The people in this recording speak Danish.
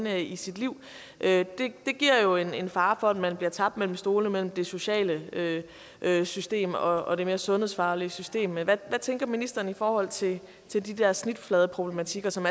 er i sit liv giver jo en fare for at man bliver tabt mellem stolene mellem det sociale system og det mere sundhedsfaglige system men hvad tænker ministeren i forhold til de der snitfladeproblematikker som